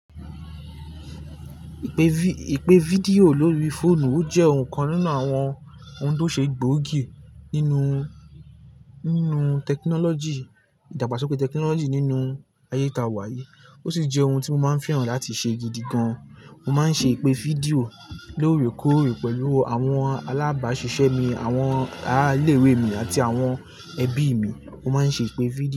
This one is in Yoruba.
Ìpè fídíò lórí fóònù o jẹ́ ọ̀hun kan nínú àwọn ohun tó ṣe gbóògì nínú, nínú tẹkinọ́lọ́jì, ìdàgbàsókè tẹkinọ́lọ́jì nínú ayé ta wá yíi. Ó sì jẹ́ ohun tí mo máa ń fẹ́ràn láti ṣe gidi gan. Mo máa ń ṣe ìpè fídíò lóòrèkóòrè pẹ̀lú àwọn alábàásisẹ́ mi, àwọn ará ilé ìwé mi àti àwọn ẹbí mi. Mo máa ń ṣe ìpè fídíò.